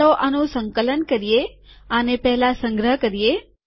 ચાલો આનું સંકલન કરીએ આને પહેલા સંગ્રહ કરીએ